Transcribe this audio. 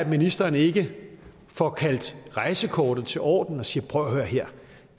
ministeren ikke får kaldt rejsekort as til orden og siger prøv at høre her